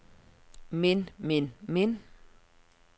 men men men